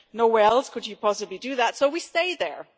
nowhere else could you possibly do that, so we stay there.